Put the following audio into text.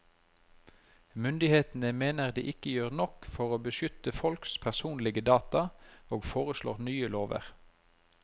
Myndighetene mener de ikke gjør nok for å beskytte folks personlige data, og foreslår nye lover.